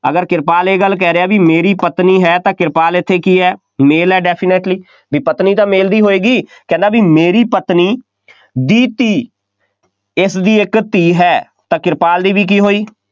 ਅਗਰ ਕਿਰਪਾਲ ਇਹ ਗੱਲ ਕਹਿ ਰਿਹਾ ਬਈ ਮੇਰੀ ਪਤਨੀ ਹੈ ਤਾਂ ਕਿਰਪਾਲ ਇੱਥੇ ਕੀ ਹੈ, male ਹੈ definitely ਬਈ ਪਤਨੀ ਤਾਂ male ਦੀ ਹੋਏਗੀ, ਕਹਿੰਦਾ ਬਈ ਮੇਰੀ ਪਤਨੀ ਦੀ ਧੀ, ਇਸਦੀ ਇੱਕ ਧੀ ਹੈ, ਤਾਂ ਕਿਰਪਾਲ ਦੀ ਵੀ ਕੀ ਹੋਈ,